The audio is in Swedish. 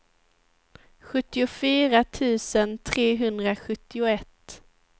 sjuttiofyra tusen trehundrasjuttioett